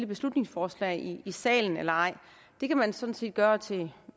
beslutningsforslag i salen eller ej det kan man sådan set gøre til